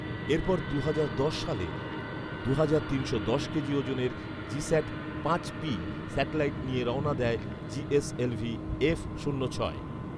এরপর দুহাজার দশ সালে দুহাজার তিনশো দশ কেজি ওজনের জিস্যাট পাঁচ পি স্যাটেলাইট নিয়ে রওনা দেয় জিএসএলভি এফ শূন্য ছয়